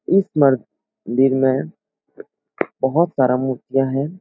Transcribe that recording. इस मन दिर में बहुत सारा मूर्तियां हैं।